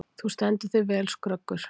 Þú stendur þig vel, Skröggur!